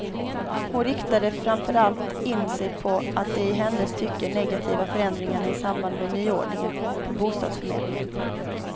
Hon riktade framför allt in sig på de i hennes tycke negativa förändringarna i samband med nyordningen på bostadsförmedlingen.